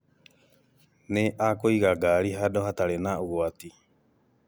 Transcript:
Nĩ akũiga ngari hadũ hatarĩ na ũgwati